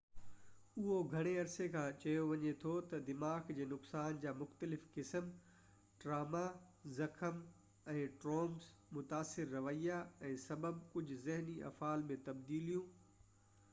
اهو گهڻي عرصي کان چيو وڃي ٿو ته دماغ جي نقصان جا مختلف قسم ٽراما زخم ۽ ٽرومس متاثر رويا ۽ سبب ڪجهه ذهني افعال ۾ تبديليون